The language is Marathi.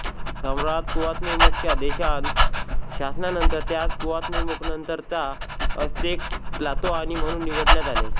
सम्राट कुआव्तेमोकच्या देहांत शासनानंतर त्यास कुआव्तेमोकनंतरचा अस्तेक त्लातोआनी म्हणून निवडण्यात आले